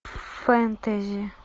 фэнтези